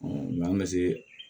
n'an bɛ se